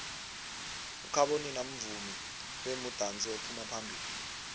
ukhabonino mvumi bemudansi ophuma phambilo